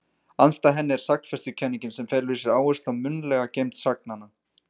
Andstæð henni er sagnfestukenningin sem felur í sér áherslu á munnlega geymd sagnanna.